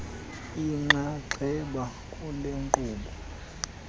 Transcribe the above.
inxaxheba kule nkqubo